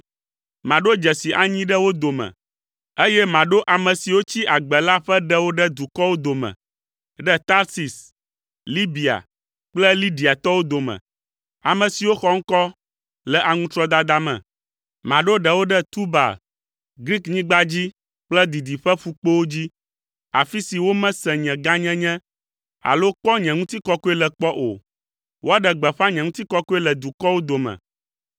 “Maɖo dzesi anyi ɖe wo dome, eye maɖo ame siwo tsi agbe la ƒe ɖewo ɖe dukɔwo dome, ɖe Tarsis, Libia kple Lidiatɔwo dome, ame siwo xɔ ŋkɔ le aŋutrɔdada me. Maɖo ɖewo ɖe Tubal, Griknyigba dzi kple didiƒeƒukpowo dzi, afi si womese nye gãnyenye alo kpɔ nye ŋutikɔkɔe le kpɔ o. Woaɖe gbeƒã nye ŋutikɔkɔe le dukɔwo dome.